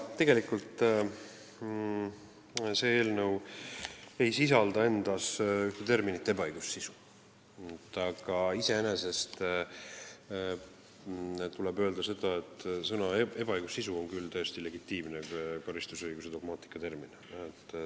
Tegelikult ei sisalda see eelnõu endas terminit "ebaõigussisu", aga tuleb öelda, et sõna "ebaõigussisu" on küll täiesti legitiimne karistusõiguse dogmaatika termin.